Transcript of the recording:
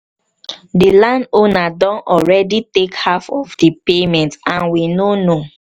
the landowner don already take half of the payment and we no know